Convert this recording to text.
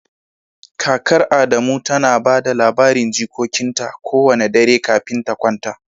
Kakar Adamu tana ba da labarin jikokinta kowane dare kafin ta kwanta